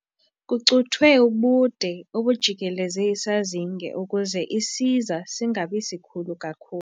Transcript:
Kucuthwe ubude obujikeleze isazinge ukuze isiza singabi sikhulu kakhulu.